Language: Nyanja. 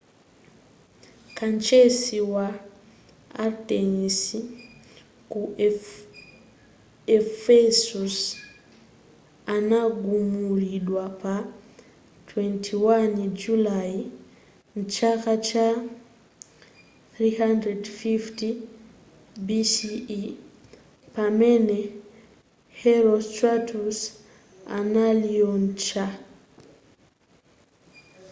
kachisi wa artenis ku ephesus anagumulidwa pa 21 julayi mchaka cha 356 bce pamene herostratus analiotcha